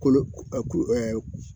Ko a